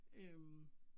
Øh